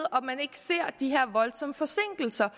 ser de her voldsomme forsinkelser